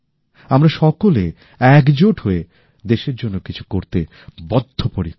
আমরা সকলে একজোট হয়ে দেশের জন্য কিছু করতে বদ্ধপরিকর